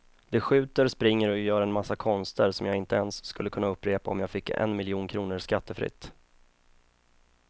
De skjuter, springer och gör en massa konster som jag inte ens skulle kunna upprepa om jag fick en miljon kronor skattefritt.